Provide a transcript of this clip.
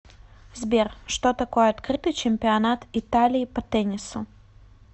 сбер что такое открытый чемпионат италии по теннису